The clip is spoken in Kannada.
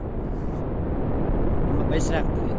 ಅಲ್ಲಾ ಹೌದು ತುಂಬಾ ಬೇಸರ ಆಗ್ತದೆ.